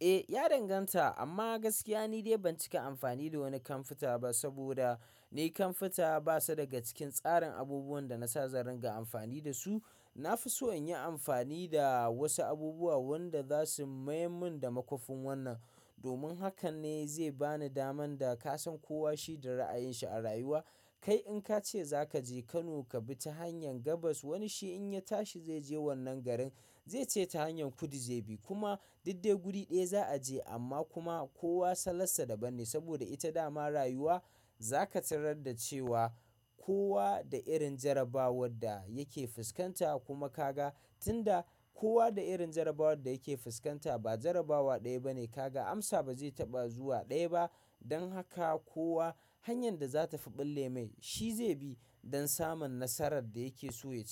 Eh, ya danganta amma gaskiya ni dai ban cika amfani da wani kamfuta ba saboda ne kamfuta basa daga cikin tsarin abubuwan da nasa zan ringa amfani da su. Na fi so in yi amfani da wasu abubuwa wanda za su mayar mun da makwafin wannan. Domin hakan ne zai bani daman da ka san kowa shi da ra'ayinshi a rayuwa. Kai in ka ce za ka je Kano ka bi ta hanyar gabas, wani shi in ya tashi zai je wannan garin zai ce ta hanyar kudu zai bi. Kuma duk dai guri ɗaya za a je amma kuma kowa salansa daban ne saboda ita dama rayuwa. Za ka tarar da cewa kowa da irin jarabawar da yake fuskanta kuma ka ga tunda kowa da irin jarabawar da yake fuskanta ba jarabawa ɗaya bane ka ga amsa ba zai taɓa zuwa ɗaya ba. Don haka kowa hanyar da za ta fi ɓulle mai shi zai bi don samun nasarar da yake so ya ci.